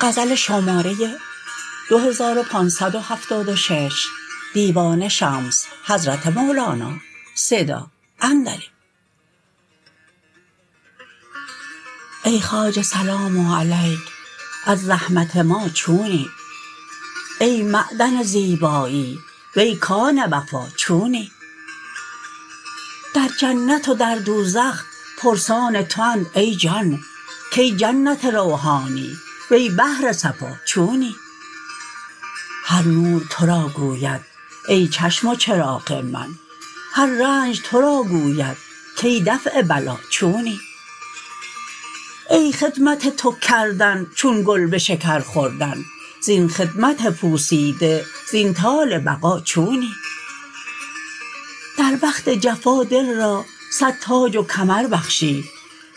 ای خواجه سلام علیک از زحمت ما چونی ای معدن زیبایی وی کان وفا چونی در جنت و در دوزخ پرسان تواند ای جان کای جنت روحانی وی بحر صفا چونی هر نور تو را گوید ای چشم و چراغ من هر رنج تو را گوید کی دفع بلا چونی ای خدمت تو کردن چون گلبشکر خوردن زین خدمت پوسیده زین طال بقا چونی در وقت جفا دل را صد تاج و کمر بخشی